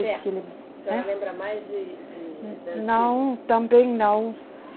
A senhora lembra mais de, de, da. Não, também não.